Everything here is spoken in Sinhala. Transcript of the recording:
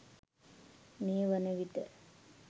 මේ වනවිට